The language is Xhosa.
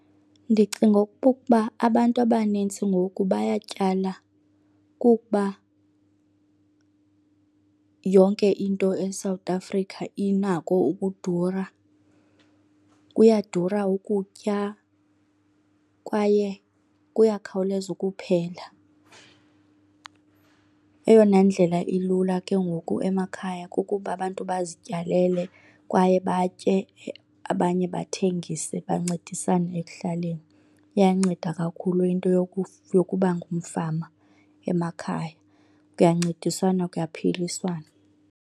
Ndicinga okokuba abantu abanintsi ngoku bayatyala kukuba yonke into eSouth Africa inako ukudura. Kuyadura ukutya kwaye kuyakhawuleza ukuphela. Eyona ndlela ilula ke ngoku emakhaya kukuba abantu bazityalele kwaye batye, abanye bathengise bancedisane ekuhlaleni. Iyanceda kakhulu into yokuba ngumfama emakhaya, kuyancediswana kuyaphiliswana.